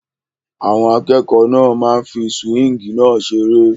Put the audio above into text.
Àwọn akẹ́kọ̀ọ́ náà ń fí súwíngì náà seré